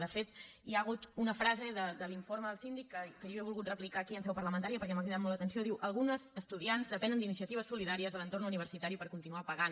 de fet hi ha hagut una frase de l’informe del síndic que jo he volgut replicar aquí en seu parlamentària perquè m’ha cridat molt l’atenció diu algunes estudiants depenen d’iniciatives solidàries de l’entorn universitari per continuar pagant